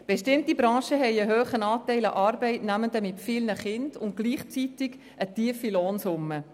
Bestimmte Branchen haben einen hohen Anteil an Arbeitnehmenden mit vielen Kindern bei einer gleichzeitig tiefen Lohnsumme.